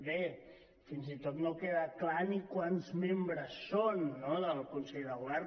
bé fins i tot no que·da clar ni quants membres són no del consell de govern